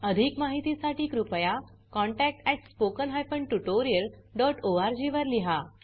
अधिक माहितीसाठी कृपया contact at spoken hyphen tutorial dot ORG वर लिहा